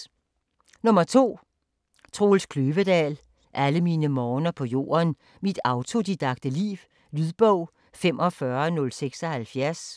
2. Kløvedal, Troels: Alle mine morgener på jorden: mit autodidakte liv Lydbog 45076